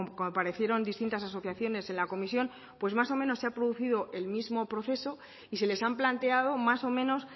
comparecieron distintas asociaciones en la comisión pues más o menos se ha producido el mismo proceso y se les han planteado más o menos